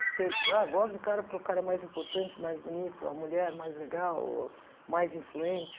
Você ah gosto do cara porque o cara é mais importante, mais bonito, a mulher mais legal, mais influente.